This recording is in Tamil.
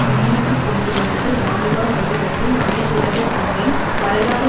முன்னுக்குக் கொண்டு வந்தது நான்காம் அகிலத்தின் அனைத்துலக குழுவின் வரலாறு